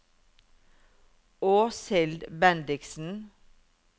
Åshild Bendiksen